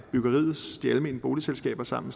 de almene boligselskaber sammen